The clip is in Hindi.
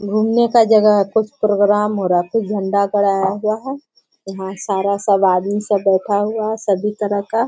घूमने का जगह है कुछ प्रोग्राम हो रहा है कुछ झंडा गड़ाया हुआ है। यहाँ सारा सब आदमी सब बैठा हुआ है सभी तरह का --